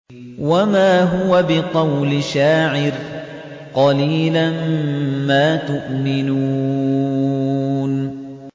وَمَا هُوَ بِقَوْلِ شَاعِرٍ ۚ قَلِيلًا مَّا تُؤْمِنُونَ